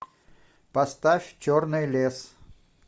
поставь черный лес